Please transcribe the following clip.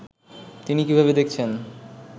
তিনি কীভাবে দেখছেন